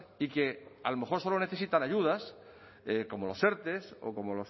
y que a lo mejor solo necesitan ayudas como los erte o como